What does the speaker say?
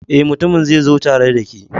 Eh, mutumin zai zo tare da ke